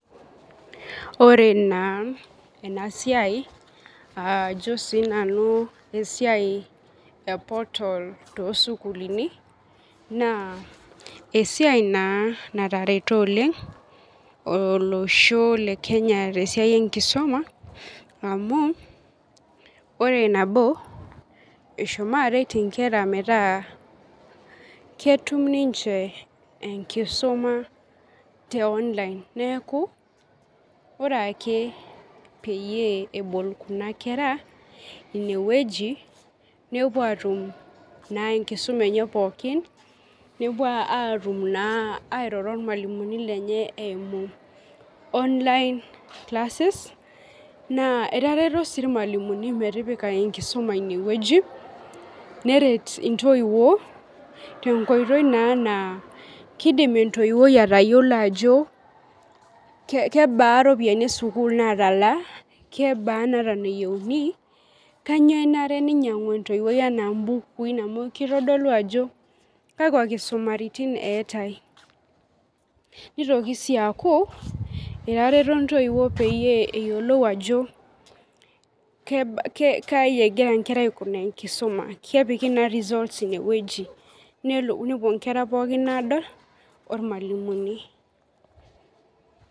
Ore na enasiai ajo na sinanu esiai e portal tosukulini na esiai na natareto oleng olosho le kenye tesiai enkisuma amu ore nabo eshomo aret nkera metaa ketum ninche enkisuma te online neaku ore ake peebol kunakera inewueji nepuo atum enkisum enye pooki nepuo airo ormalimuni lenye eimu online classes na etareto irmalimulini metipika enkisuma inewueji neret ntoiwuo tenkoitoi na kidim entoiwoi atayiolo ajo kebaa ropiyani esukul natalaa kebaa nayiauni kanyio enarebnainyangu entoiwoi ana mbukui amu kitadolu ajo kakwa kisumaritin eetae nitoki sii aku etareto ntoiwuo peyiolou ajo kaiegira nkera aikunaa enkisuma nepuobnkera pookin adol ormalimuni.